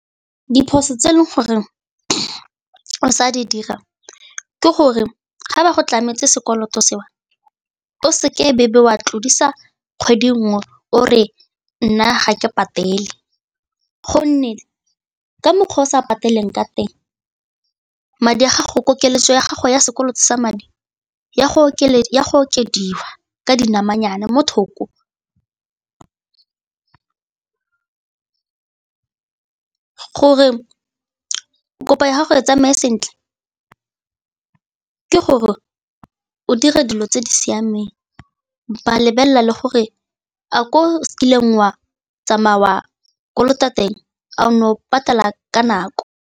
Diphoso tse e leng gore o sa di dira ke gore ga ba go tlametse sekoloto seo, o seke bewe wa tlodisa kgwedi nngwe o re nna ga ke patele gonne ka mokgwa o sa patelang ka teng madi a gago koketso ya gago ya sekoloto sa madi ya go okediwa ka dinamanyana mo thoko ke gore o kopa ya gago e tsamaye sentle ke gore o dire dilo tse di siameng ba lebelela le gore a ko sekolong wa tsamaya wa kolota teng, a o ne o patela ka nako.